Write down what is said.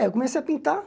É, eu comecei a pintar.